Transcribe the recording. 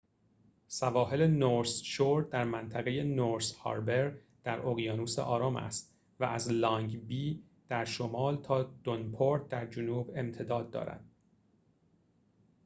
سواحل نورث شور در منطقه نورث هاربر در اقیانوس آرام است و از لانگ بی در شمال تا دونپورت در جنوب امتداد دارد